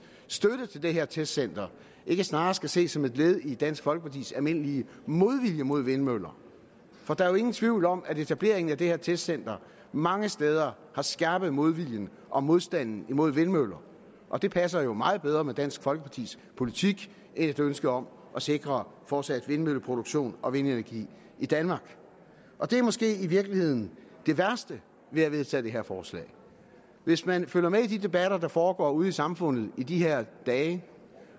støtte til det her testcenter ikke snarere skal ses som et led i dansk folkepartis almindelige modvilje mod vindmøller for der er jo ingen tvivl om at etableringen af det her testcenter mange steder har skærpet modviljen og modstanden mod vindmøller og det passer jo meget bedre med dansk folkepartis politik end et ønske om at sikre fortsat vindmølleproduktion og vindenergi i danmark og det er måske i virkeligheden det værste ved at vedtage det her forslag hvis man følger med i de debatter der foregår ude i samfundet i de her dage